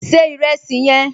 Se ìrẹsì yẹn!